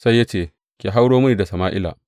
Sai ya ce, Ki hauro mini da Sama’ila.